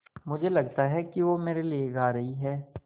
मुझे लगता है कि वो मेरे लिये गा रहीं हैँ